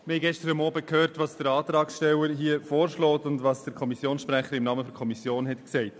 Wir haben gestern Abend gehört, was der Antragsteller vorschlägt und was der Kommissionssprecher im Namen der Kommission sagte.